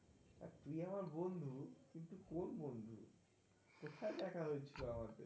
তুই আমার বন্ধু কিন্তু, কোন বন্ধু? সেটা জানানোর ছিল আমার?